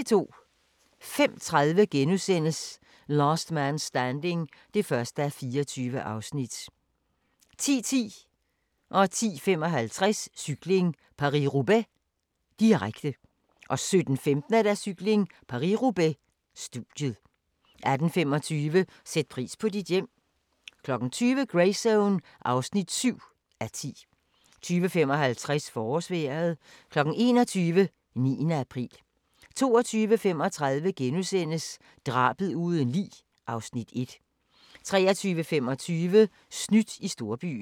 05:30: Last Man Standing (1:24)* 10:10: Cykling: Paris-Robaix - studiet 10:55: Cykling: Paris-Roubaix, direkte 17:15: Cykling: Paris-Robaix - studiet 18:25: Sæt pris på dit hjem 20:00: Greyzone (7:10) 20:55: Forårsvejret 21:00: 9. april 22:35: Drabet uden lig (Afs. 1)* 23:25: Snydt i storbyen